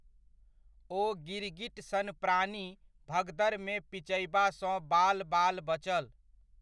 ओ गिरगिट सन प्राणी भगदड़मे पिचयबासँ बालबाल बचल।